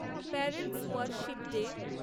parents worship day